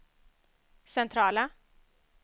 centrala